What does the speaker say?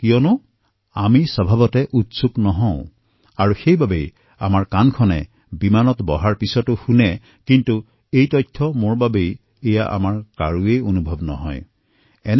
কিয় কাৰণ আমি স্বভাৱতেই সচেতন নহয় আৰু সেইবাবে আমাৰ কাণ উৰাজাহাজত বহাৰ পিছত এই কথাসমূহতো শুনে কিন্তু এয়া সূচনা মোৰ বাবে এনেকুৱা আমাৰ কাৰোৰে নালাগে